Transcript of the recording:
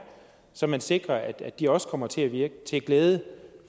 så man sikrer at de også kommer til at virke til glæde